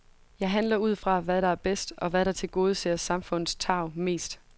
Jeg handler ud fra, hvad der er bedst, og hvad der tilgodeser samfundets tarv mest.